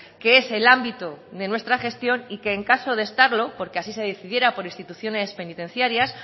que es el ámbito de nuestra gestión y que en caso de estarlo porque así se decidiera por instituciones penitenciarias